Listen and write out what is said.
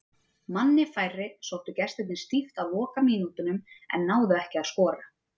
Manni færri sóttu gestirnir stíft á lokamínútunum en náðu ekki að skora.